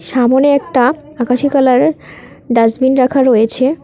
সামোনে একটা আকাশী কালারের ডাস্টবিন রাখা রয়েছে।